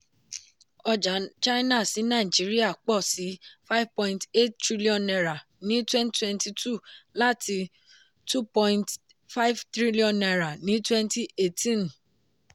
ọjà china sí nàìjíríà pọ̀ sí ₦ five point eight tr ní twenty twenty two láti ₦ two point five tr ní twenty eighteen.